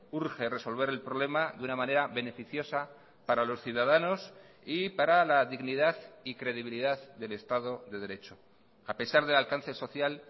urge resolver el problema de una manera beneficiosa para los ciudadanos y para la dignidad y credibilidad del estado dederecho a pesar del alcance social